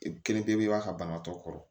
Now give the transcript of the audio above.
Kelen pepere banatɔ kɔrɔ